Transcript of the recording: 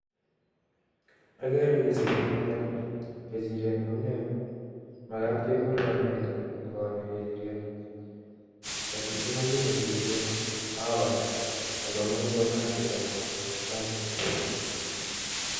Akere kechiryet ne miani keriiyoni komianii magat kekur kanyoik nyi Konya kechiryoni ngo makinya akoi komee ak ngo Mee kokon kasit ange